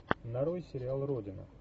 нарой сериал родина